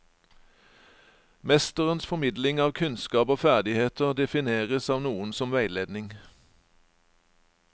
Mesterens formidling av kunnskap og ferdigheter defineres av noen som veiledning.